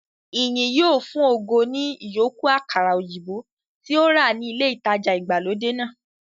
Ìyìn yóò fun ògo ní ìyókù àkàrà òyìnbó tí ó rà ní ilé ìtajà ìgbàlódé náà